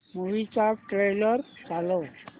movie चा trailer चालव